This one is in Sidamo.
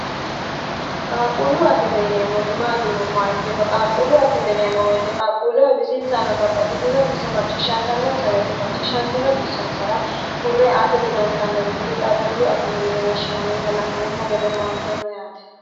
qaaquullu akime yineemmoti maatii yinommoa ikkiro qaaqquullu akimeneemmo woyite qaaqquulleho bisinsa ana babbaxitiinoxisso macciishshantannonsa woyite macciishshantiino xissonsara hurre aate dodantannori kuri qaaqquullu akimeyine woshshinanniita la'neemmo gede howanteemmo yaate